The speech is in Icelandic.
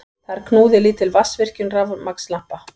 Þar knúði lítil vatnsvirkjun rafmagnslampa.